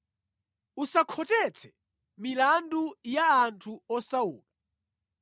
“Usakhotetse milandu ya anthu osauka.